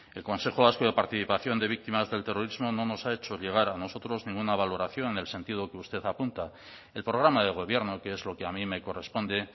el consejo vasco de participación de víctimas del terrorismo no nos ha hecho llegar a nosotros ninguna valoración en el sentido que usted apunta el programa de gobierno que es lo que a mí me corresponde